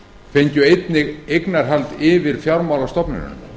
fengju einnig eignarhald yfir fjármálastofnunum